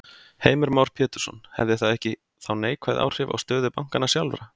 Heimir Már Pétursson: Hefði það ekki þá neikvæð áhrif á stöðu bankanna sjálfra?